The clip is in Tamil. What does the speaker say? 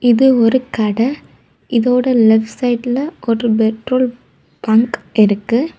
இது ஒரு கட இதோட லெப்ட் சைடுல ஒரு பெட்ரோல் பங்க் இருக்கு.